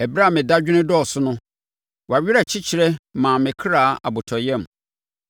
Ɛberɛ a me dadwene dɔɔso no, wʼawerɛkyekye maa me kra abotɔyam.